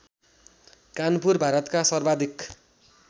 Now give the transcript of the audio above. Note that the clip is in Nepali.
कानपुर भारतका सर्वाधिक